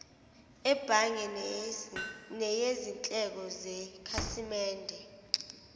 ebhange neyizindleko zekhasimende